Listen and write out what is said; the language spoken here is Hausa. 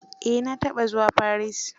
Eh na taɓa zuwa Paris.